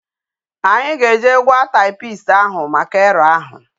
Anyi ga eje gwa typist ahu maka error ahu